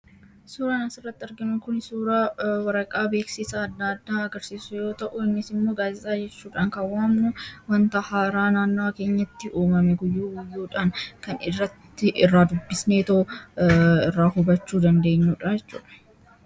Suuraan asirratti arginu kun suuraa waraqaa beeksisa adda addaa agarsiisu yoo ta'u, innis immoo gaazeexaa jechuudhaan kan waamnu wanta haaraa naannawa keenyatti uumame guyyuu guyyuudhaan kan irratti irraa dubbisneetoo irraa hubachuu dandeenyuu dha jechuudha.